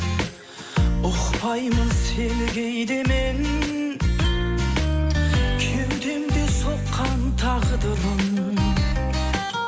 ұқпаймын сені кейде мен кеудемде соққан тағдырым